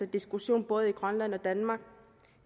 diskussion i både grønland og danmark